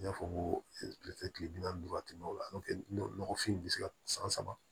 N y'a fɔ n ko kilefɛ kile bi naani ni duuru waati o la n'o tɛ nɔgɔfin bɛ se ka san saba